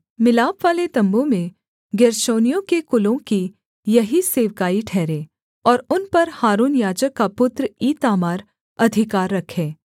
मिलापवाले तम्बू में गेर्शोनियों के कुलों की यही सेवकाई ठहरे और उन पर हारून याजक का पुत्र ईतामार अधिकार रखे